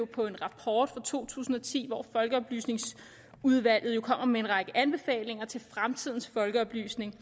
på en rapport fra to tusind og ti hvor folkeoplysningsudvalget kom med en række anbefalinger til fremtidens folkeoplysning